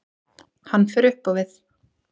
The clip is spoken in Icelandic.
Hann fer upp á við.